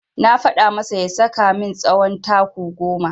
Na faɗa masa ya saka min tsawon taku goma.